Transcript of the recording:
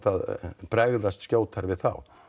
að bregðast skjótar við þá